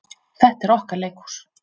Þetta er okkar leikhús.